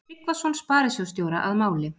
Tryggvason sparisjóðsstjóra að máli.